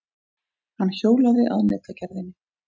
Hann hjólaði að netagerðinni.